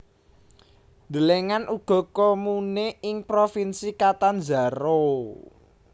Delengen uga Comune ing Provinsi Catanzaro